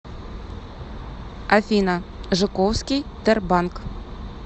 афина жуковский тербанк